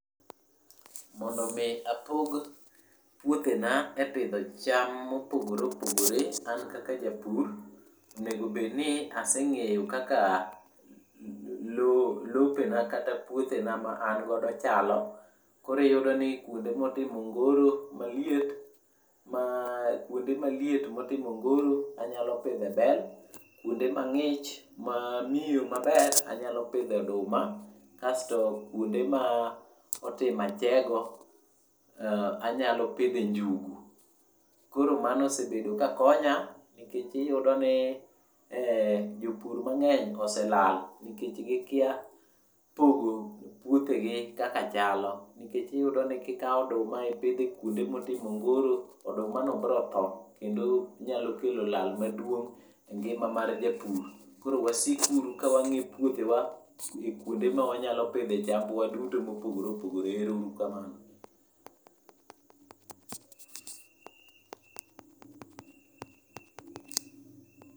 Mondo mi apog puothena e pidho cham mopogore opogore an kaka japur, onego obed ni aseng'eyo kaka lo lopena kata puothena ma an godo chalo. Koro iyudo ni kuonde motimo ongoro maliet, kuonde maliet motimo ongoro, anyalo pidhe bel. Kwonde mang'ich, mamiyo maber anyalo pidhe oduma kasto kwonde ma otimo achego anyalo pidhe njugu. Koro mano osebedo ka konya nikech iyudo ni en jopur mang'eny oselal nikech gikia pogo puothegi kaka chalo nikech iyudoni kikawo oduma ipidhe e kwonde motimo ongoro, odumano bro tho ,kendo nyalo kelo lal maduong' e ngima mar japur. Koro wasik uru ka wang'e puothewa kwonde ma wanya pidhe chambwa duto mopogore opogore. Ero uru kamano.